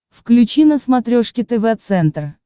включи на смотрешке тв центр